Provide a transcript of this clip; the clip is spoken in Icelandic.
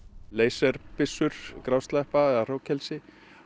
leysibyssur hrognkelsi